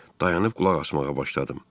Dayanıb qulaq asmağa başladım.